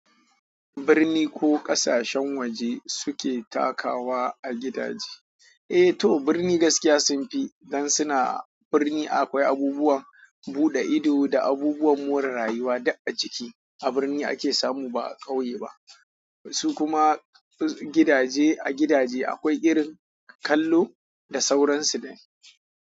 Birni ko ƙasashen waje suke takawa a gidaje. Eh to birni gaskiya sunfi dan suna birni akwai abubuwan buɗe ido da abubuwan more rayuwa duk a ciki. A birni ake samu ba a ƙauye ba. Su kuma gidaje a gidaje akwai irin kallo da sauransu dai.